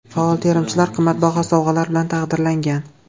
Faol terimchilar qimmatbaho sovg‘alar bilan taqdirlangan.